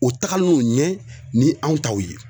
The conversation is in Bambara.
U tagalen don ɲɛ ni anw taw ye.